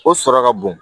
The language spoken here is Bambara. O sɔrɔ ka bon